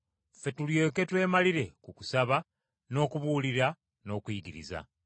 Ffe tulyoke twemalire ku kusaba, n’okubuulira n’okuyigiriza.”